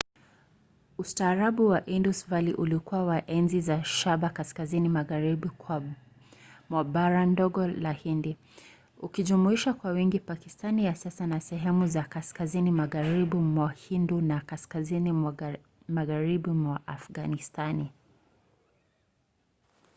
ustaarabu wa indus valley ulikuwa wa enzi za shaba kaskazini magharibi mwa bara ndogo la hindi ukijumuisha kwa wingi pakistani ya sasa na sehemu za kaskazini magharibi mwa hindu na kaskazini magharibi mwa afganistani